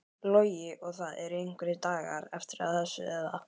Logi: Og það eru einhverjir dagar eftir að þessu eða?